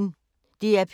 DR P1